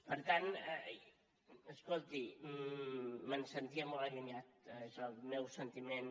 per tant escolti me’n sentia molt allunyat d’això el meu sentiment